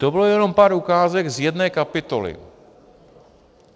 To bylo jenom pár ukázek z jedné kapitoly.